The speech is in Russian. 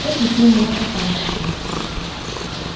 экий ты у меня попастый стал